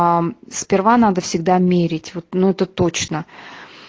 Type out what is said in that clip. а сперва надо всегда мерить вот ну это точно